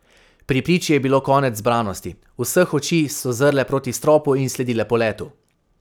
Pri priči je bilo konec zbranosti, vseh oči so zrle proti stropu in sledile poletu.